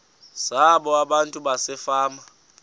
zabo abantu basefama